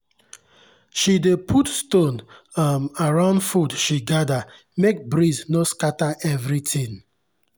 she dey put stone um around food she gather make breeze no scatter everything.